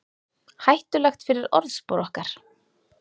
Hættulegt fyrir orðspor okkar